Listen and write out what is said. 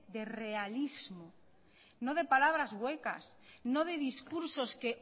de realismo no de palabras huecas no de discursos que